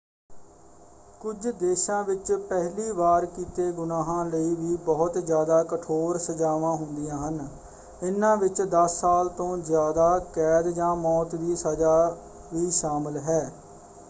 ਕੁਝ ਦੇਸ਼ਾਂ ਵਿੱਚ ਪਹਿਲੀ ਵਾਰ ਕੀਤੇ ਗੁਨਾਹਾਂ ਲਈ ਵੀ ਬਹੁਤ ਜ਼ਿਆਦਾ ਕਠੋਰ ਸਜ਼ਾਵਾਂ ਹੁੰਦੀਆਂ ਹਨ; ਇਨ੍ਹਾਂ ਵਿੱਚ 10 ਸਾਲ ਤੋਂ ਜ਼ਿਆਦਾ ਕੈਦ ਜਾਂ ਮੌਤ ਦੀ ਸਜ਼ਾ ਵੀ ਸ਼ਾਮਲ ਹੈ।